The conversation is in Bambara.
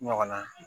Ɲɔgɔn na